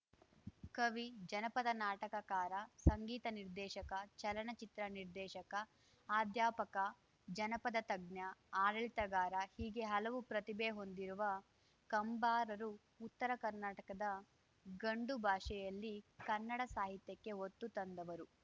ಕವಿ ಜನಪದ ನಾಟಕಕಾರ ಸಂಗೀತ ನಿರ್ದೇಶಕ ಚಲನಚಿತ್ರ ನಿರ್ದೇಶಕ ಅಧ್ಯಾಪಕ ಜನಪದ ತಜ್ಞ ಆಡಳಿತಗಾರ ಹೀಗೆ ಹಲವು ಪ್ರತಿಭೆ ಹೊಂದಿರುವ ಕಂಬಾರರು ಉತ್ತರ ಕರ್ನಾಟಕದ ಗಂಡು ಭಾಷೆಯಲ್ಲಿ ಕನ್ನಡ ಸಾಹಿತ್ಯಕ್ಕೆ ಹೊತ್ತು ತಂದವರು